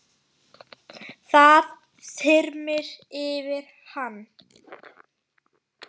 Það þyrmir yfir hann.